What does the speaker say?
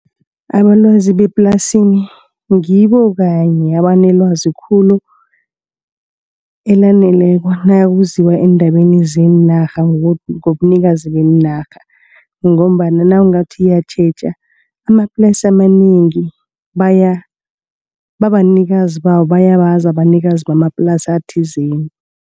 Abalwazi beplasini ngibo kanye abanelwazi khulu elaneleko nakuziwa endabeni zeenarha. Ngobunikazi beenarha ngombana nawungathi uyatjheja amaplasi amanengi babanikazi babo bayabazi abanikazi bamaplasi athizeni.